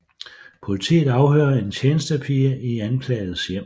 Politiet afhører en tjenestepige i anklagedes hjem